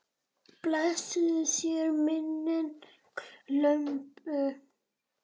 Blessuð sé minning Imbu.